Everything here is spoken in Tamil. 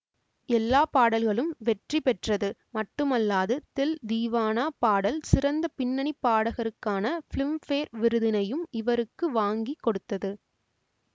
எல்லா பாடல்களும் வெற்றி பெற்றது மட்டுமல்லாது தில் தீவானா பாடல் சிறந்த பின்னணி பாடகருக்கான பிலிம்பேர் விருதினையும் இவருக்கு வாங்கி கொடுத்தது